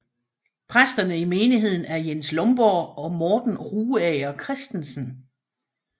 Præsterne i menigheden er Jens Lomborg og Morten Rugager Kristensen